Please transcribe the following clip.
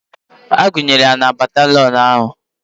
Agụnyere ya na batalịọn ahụ